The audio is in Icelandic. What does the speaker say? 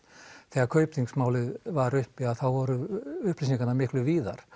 þegar Kaupþingsmálið var uppi þá voru upplýsingarnar miklu víðar